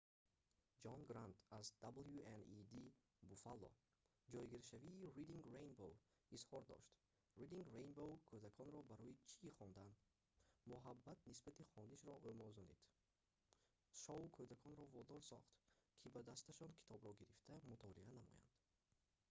ҷон грант аз wned буфалло ҷойгиршавии reading rainbow изҳор дошт:"reading rainbow кӯдаконро барои чи хондан,... муҳаббат нисбати хонишро омӯзонид - [шоу] кӯдаконро водор сохт ки ба дасташон китобро гирифта мутолиа намоянд.